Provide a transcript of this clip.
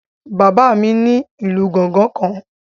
Bàbá mi ní ìlù gángan kan